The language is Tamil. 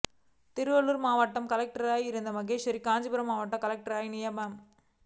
திருவள்ளூர் மாவட்ட கலெக்டராக இருந்த மகேஸ்வரி காஞ்சிபுரம் மாவட்ட கலெக்டராக நியமனம்